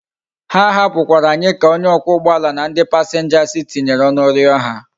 Ha hapu kwara anyi ka onye okwa ugboala na ndi passengers tinyere onu rio ha